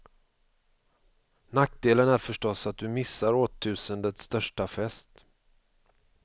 Nackdelen är förstås att du missar årtusendets största fest.